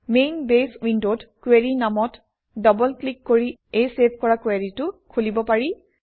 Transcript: main base ইউণ্ডত query নামত double click কৰি এই চেভ কৰা কুৱেৰিটো খুলিব পাৰি